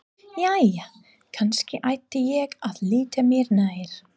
Jæja, kannski ætti ég að líta mér nær.